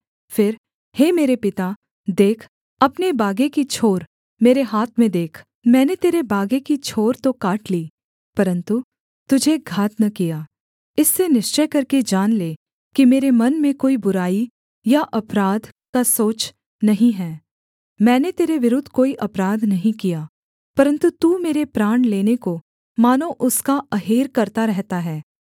फिर हे मेरे पिता देख अपने बागे की छोर मेरे हाथ में देख मैंने तेरे बागे की छोर तो काट ली परन्तु तुझे घात न किया इससे निश्चय करके जान ले कि मेरे मन में कोई बुराई या अपराध का सोच नहीं है मैंने तेरे विरुद्ध कोई अपराध नहीं किया परन्तु तू मेरे प्राण लेने को मानो उसका अहेर करता रहता है